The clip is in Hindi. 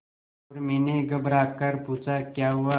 उर्मी ने घबराकर पूछा क्या हुआ